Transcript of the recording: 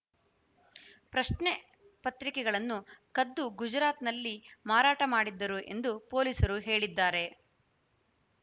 ಪ್ರಶ್ನೆ ಪತ್ರಿಕೆಗಳನ್ನು ಕದ್ದು ಗುಜರಾತ್‌ನಲ್ಲಿ ಮಾರಾಟ ಮಾಡಿದ್ದರು ಎಂದು ಪೊಲೀಸರು ಹೇಳಿದ್ದಾರೆ